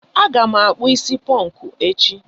Aga m akpụ is ponku echi.